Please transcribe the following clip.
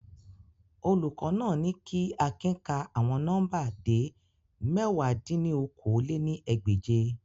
Olukọ naa ni ki Akin ka awọn nọmba de mẹ̀wá dín ní okòó-lé-ní-ẹgbẹ́je